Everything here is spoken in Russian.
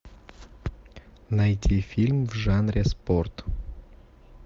найти фильм в жанре спорт